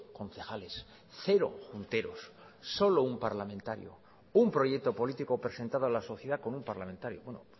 concejales cero junteros solo un parlamentario un proyecto político presentado a la sociedad con un parlamentario bueno